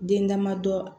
Den damadɔ